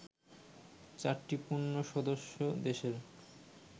চারটি পূর্ণ সদস্য দেশের